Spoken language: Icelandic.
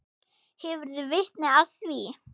Hefurðu vitni að því?